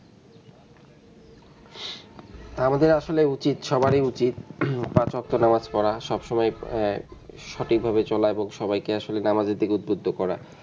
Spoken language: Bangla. আমাদের আসলে উচিত সবারই উচিত পাঁচ বক্ত নামাজ পড়া সবসময় আহ সঠিক ভাবে চলা এবং সবাইকে আসলে দাওয়াতের দিকে উদ্যত করা.